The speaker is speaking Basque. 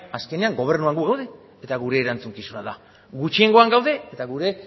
azkenean gobernuan gu daude eta gure erantzukizuna da gutxiengoan gaude eta gure